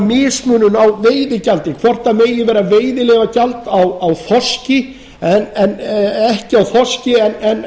mismunun á veiðigjaldi hvort það megi vera veiðileyfagjald á þorski ekki á þorski en